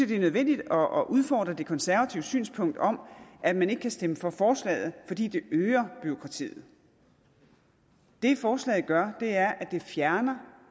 det er nødvendigt at udfordre det konservative synspunkt om at man ikke kan stemme for forslaget fordi det øger bureaukratiet det forslaget gør er at det fjerner